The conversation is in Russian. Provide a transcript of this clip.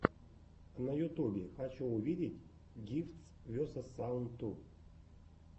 на ютубе хочу увидеть гифтс весос саунд ту